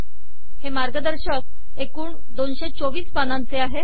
हे मार्गदर्शक एकूण २२४ पानांचे आहे